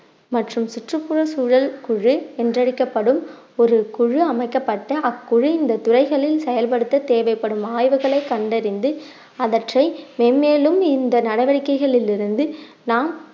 மற்றும் சுற்றுப்புற சூழல் குழு என்றழைக்கப்படும் ஒரு குழு அமைக்கப்பட்ட அக்குழு இந்த துறைகளில் செயல்படுத்த தேவைப்படும் ஆய்வுகளை கண்டறிந்து அவற்றை மென்மேலும் இந்த நடவடிக்கைகளில் இருந்து நாம்